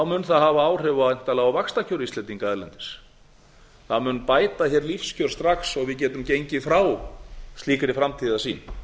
mun það hafa áhrif væntanlega á vaxtakjör íslendinga erlendis það mun bæta hér lífskjör strax og við getum gengið frá slíkri framtíðarsýn